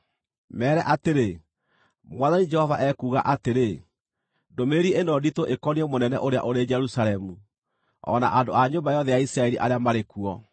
“Meere atĩrĩ, ‘Mwathani Jehova ekuuga atĩrĩ: Ndũmĩrĩri ĩno nditũ ĩkoniĩ mũnene ũrĩa ũrĩ Jerusalemu, o na andũ a nyũmba yothe ya Isiraeli arĩa marĩ kuo.’